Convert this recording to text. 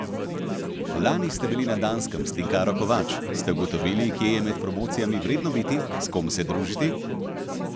Lani ste bili na Danskem s Tinkaro Kovač, ste ugotovili, kje je med promocijami vredno biti, s kom se družiti?